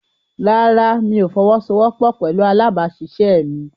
Rárá, mi ò fọwọ́sowọ́pọ̀ pẹ̀lú alábàáṣiṣẹ́ mi.